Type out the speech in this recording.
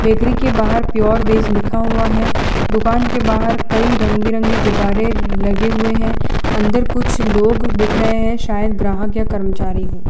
Bakery के बाहर pure veg लिखा हुआ है दुकान के बाहर कई रंग बिरंगे गुब्बारे लगे हुए हैं अंदर कुछ लोग दिख रहे हैं शायद ग्राहक या कर्मचारी हो।